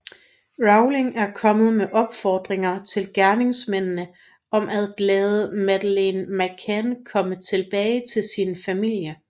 Rowling er kommet med opfordringer til gerningsmændene om at lade Madeleine McCann komme tilbage til sin familie